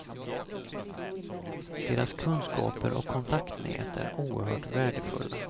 Deras kunskaper och kontaktnät är oerhört värdefulla.